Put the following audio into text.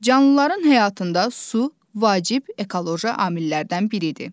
Canlıların həyatında su vacib ekoloji amillərdən biridir.